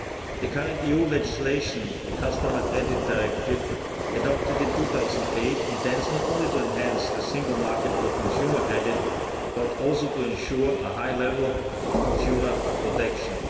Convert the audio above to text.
The current EU legislation, the Consumer Credit Directive, adopted in 2008, intends not only to enhance the single market for consumer credit, but also to ensure a high level of consumer protection.